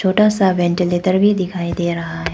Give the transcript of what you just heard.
छोटा सा वेंटीलेटर भी दिखाई दे रहा है।